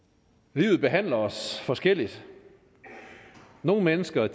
livet behandler os forskelligt nogle mennesker